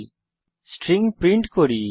তারপর string print করি